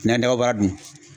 Nan dababaara dun